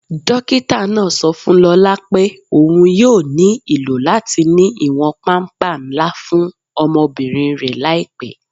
Dókítà náà sọ fún Lólá pé óun yóò ní ilò latí ní iwọn pàmpà nlà fún ọmọbírín rẹ laípẹ́.